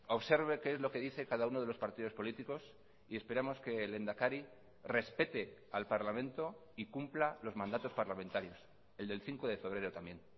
observe qué es lo que dice cada uno de los partidos políticos y esperamos que el lehendakari respete al parlamento y cumpla los mandatos parlamentarios el del cinco de febrero también